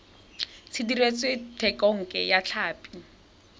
se dirisitswe thekontle ya tlhapi